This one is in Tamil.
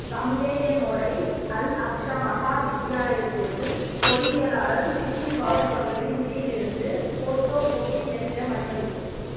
காங்கேயனாேடை அல் அக்ஸா மஹா வித்தியாலத்திற்கு பாெருயியலாளர் சிப்லிபாறுக் அவர்களின் நிதியிலிருந்து பாேட்டாே காெப்பி இயந்திரம் அன்பளிப்பு